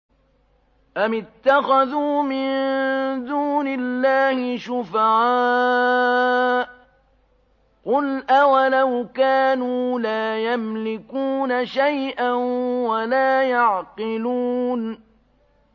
أَمِ اتَّخَذُوا مِن دُونِ اللَّهِ شُفَعَاءَ ۚ قُلْ أَوَلَوْ كَانُوا لَا يَمْلِكُونَ شَيْئًا وَلَا يَعْقِلُونَ